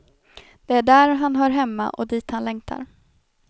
Det är där han hör hemma och dit han längtar.